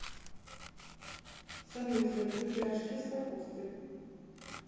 салют я люблю пирожки с капустой